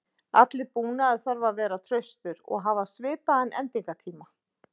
Allur búnaður þarf að vera traustur og hafa svipaðan endingartíma.